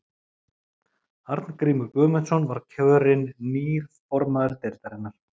Arngrímur Guðmundsson var kjörin nýr formaður deildarinnar.